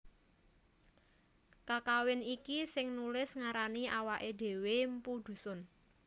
Kakawin iki sing nulis ngarani awaké dhéwé mpu Dhusun